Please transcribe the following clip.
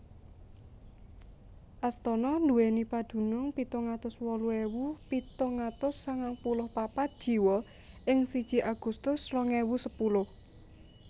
Astana nduwèni padunung pitung atus wolu ewu pitung atus sangang puluh papat jiwa ing siji Agustus rong ewu sepuluh